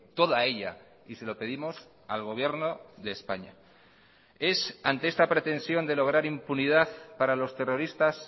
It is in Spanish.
toda ella y se lo pedimos al gobierno de españa es ante esta pretensión de lograr impunidad para los terroristas